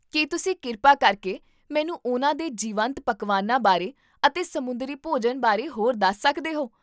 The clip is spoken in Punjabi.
ਕੀ ਤੁਸੀਂ ਕਿਰਪਾ ਕਰਕੇ ਮੈਨੂੰ ਉਹਨਾਂ ਦੇ ਜੀਵੰਤ ਪਕਵਾਨਾਂ ਬਾਰੇ ਅਤੇ ਸਮੁੰਦਰੀ ਭੋਜਨ ਬਾਰੇ ਹੋਰ ਦੱਸ ਸਕਦੇ ਹੋ?